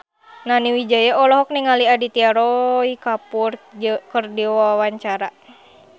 Nani Wijaya olohok ningali Aditya Roy Kapoor keur diwawancara